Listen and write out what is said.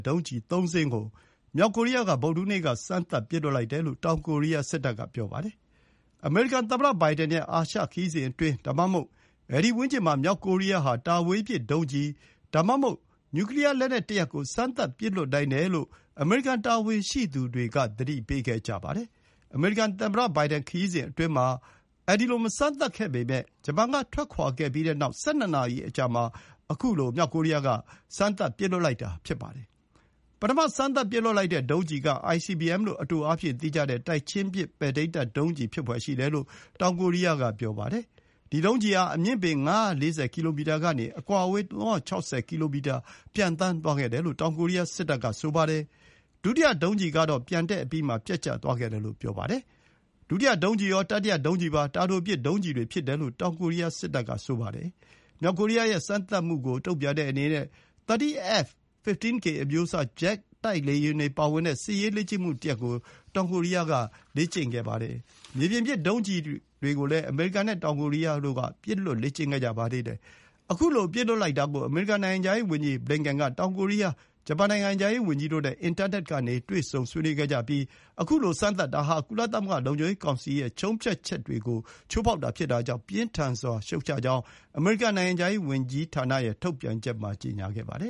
ဒုံးကျည် ၃ စင်းကို မြောက်ကိုရီးယားက ဗုဒ္ဓဟူးနေ့က စမ်းသပ်ပစ်လွှတ်လိုက်တယ်လို့ တောင်ကိုရီးယားက ပြောပါတယ်။ အမေရိကန်သမ္မတဘိုင်ဒန်ရဲ့ အာရှခရီးစဉ်အတွင်း ဒါမှမဟုတ် အဲဒီဝန်းကျင်မှာ မြောက်ကိုရီးယား ဟာ တာဝေးပစ်ဒုံးကျည် ဒါမှမဟုတ် နျူကလီယားလက်နက်ကို စမ်းသပ်ပစ်လွှတ်နိုင်တယ်လို့ အမေရိကန်တာဝန်ရှိသူတွေက သတိပေးခဲ့ကြပါတယ်။ အမေရိကန်သမ္မတဘိုင်ဒန်ရီးစဉ်အတွင်းမှာ မစမ်းသပ်ခဲ့ပေမယ့် ဂျပန်ကထွက်ခွါခဲ့ပြီးတဲ့နောက် ၁၂ နာရီ အကြာမှာ ခုလို စမ်းသပ်ပစ်လွှတ်လိုက်တာ ဖြစ်ပါတယ်။ ပထမ စမ်းသပ်ပစ်လွှတ်လိုက်တဲ့ဒုံးကျည်က ICBM လို့ အတိုအားဖြင့်သိကြတဲ့ တိုက်ချင်းပစ် ပဲ့ထိန်းတပ်ဒုံးကျည် ဖြစ်ဖွယ်ရှိတယ်လို့ တောင်ကိုရီးယားက ပြောပါတယ်။ ဒီ ဒုံးကျည်ဟာ အမြင့်ပေ ၅၄၀ ကီလိုမီတာကနေ အကွာအဝေး ၃၆၀ ကီလိုမီတာ ပျံသန်းသွားခဲ့တယ်လို့ တောင်ကိုရီးယား စစ်တပ်က ပြောပါတယ်။ ဒုတိယဒုံးကျည်ကတော့ ပျံတက်အပြီးမှာ ပျက်ကျသွားခဲ့တယ်လို့ ဆိုပါတယ်။ ဒုတိယဒုံးကျည်ရော၊ တတိယဒုံးကျည်ပါ တာတိုပစ်ဒုံးကျည်တွေဖြစ်တယ်လို့ တောင်ကိုရီးယားစစ်တပ်က ပြောပါတယ်။ မြောက်ကိုရီးယားရဲ့ စမ်းသပ်မှုကို တုံ့ပြန်တဲ့အနေနဲ့ 30 F-15K အမျိုးအစား ဂျက်တိုက်လေယာဉ်တွေပါဝင်တဲ့ စစ်ရေးလေ့ကျင့်မှုတရပ်ကို တောင်ကိုရီးယားက လေ့ကျင့်ခဲ့ပါတယ်။ မြေပြင်ပစ် ဒုံးကျည်ကိုလည်း အမေရိကန်နဲ့ တောင်ကိုရီးယားတို့က ပစ်လွှတ်လေ့ကျင့်ခဲ့ကြပါသေးတယ်။ ခုလို ပစ်လွှတ်လိုက်တာကို အမေရိကန်နိုင်ငံခြားရေးဝန်ကြီးဘလင်ကင်န်က တောင်ကိုရီးယား၊ ဂျပန်နိုင်ငံခြားရေးဝန်ကြီးတို့နဲ့ အင်တာနက်ကနေ တွေ့ဆုံဆွေးနွေးခဲ့ကြပြီး ခုလို စမ်းသပ်တာ ဟာ ကုလသမဂ္ဂလုံခြုံရေးကောင်စီရဲ့ ဆုံးဖြတ်ချက်တွေကို ချိုးဖောက်တာဖြစ်တာကြောင့် ပြင်းထန်စွာရှုတ်ချကြောင်း အမေရိကန်နိုင်ငံခြားရေးဝန်ကြီးဌာန ထုတ်ပြန်ချက်မှာ ကြေညာခဲ့ပါတယ